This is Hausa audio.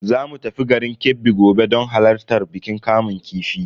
Zamu tafi garin Kebbi gobe don halartar bikin kamun kifi.